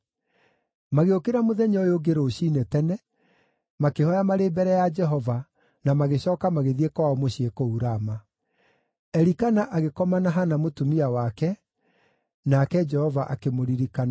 Magĩũkĩra mũthenya ũyũ ũngĩ rũciinĩ tene, makĩhooya marĩ mbere ya Jehova, na magĩcooka magĩthiĩ kwao mũciĩ kũu Rama. Elikana agĩkoma na Hana mũtumia wake, nake Jehova akĩmũririkana.